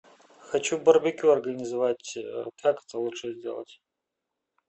хочу барбекю организовать как это лучше сделать